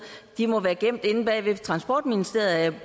de må være gemt inde bagved transportministeriet er jeg